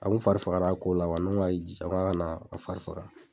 A kun fari fagara ko la, n ko n ga k'i jija, n ka na fari faga